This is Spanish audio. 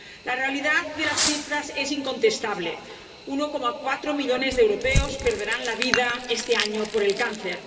La realidad de las cifras es incontestable 1,4 millones de europeos perderán la vida este año por el cáncer